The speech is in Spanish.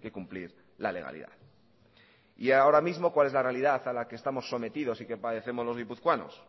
que cumplir la legalidad y ahora mismo cuál es la realidad a la que estamos sometidos y que padecemos los guipuzcoanos